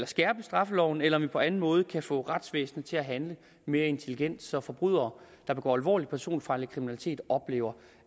skærpe straffeloven eller om vi på anden måde kan få retsvæsenet til at handle mere intelligent så forbrydere der begår alvorlig personfarlig kriminalitet oplever